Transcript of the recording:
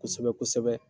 Kosɛbɛ kosɛbɛ